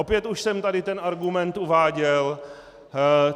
Opět už jsem tady ten argument uváděl.